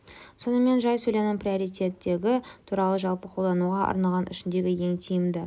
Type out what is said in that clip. сонымен жай сөйлемнің приоритеті туралы жалпы қолдануға арналған ішіндегі ең тиімді